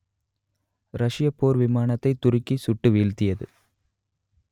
ரஷ்யப் போர் விமானத்தை துருக்கி சுட்டு வீழ்த்தியது